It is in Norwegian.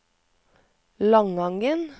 Langangen